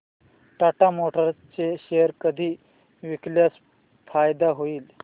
Tata motors चे share कधी विकल्यास फायदा होईल